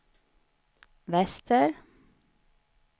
väster